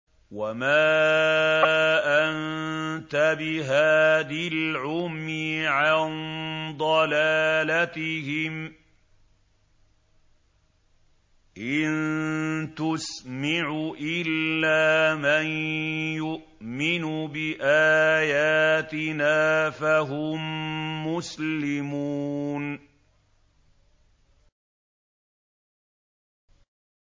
وَمَا أَنتَ بِهَادِ الْعُمْيِ عَن ضَلَالَتِهِمْ ۖ إِن تُسْمِعُ إِلَّا مَن يُؤْمِنُ بِآيَاتِنَا فَهُم مُّسْلِمُونَ